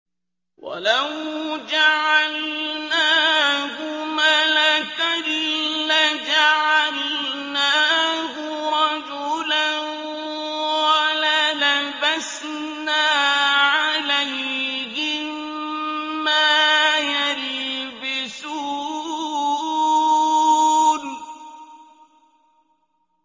وَلَوْ جَعَلْنَاهُ مَلَكًا لَّجَعَلْنَاهُ رَجُلًا وَلَلَبَسْنَا عَلَيْهِم مَّا يَلْبِسُونَ